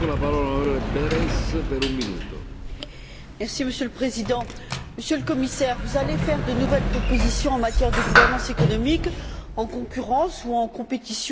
Monsieur le Président, Monsieur le Commissaire, vous allez faire de nouvelles propositions en matière de gouvernance économique en concurrence, en compétition ou en émulation avec le Président du Conseil européen.